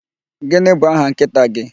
Gịnị bụ aha nkịta gị?